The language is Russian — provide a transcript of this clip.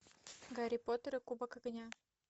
гарри поттер и кубок огня